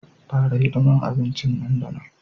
Fara hidimar abincin nan da nan